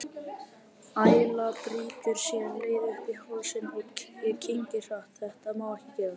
Æla brýtur sér leið upp í hálsinn, ég kyngi hratt, þetta má ekki gerast.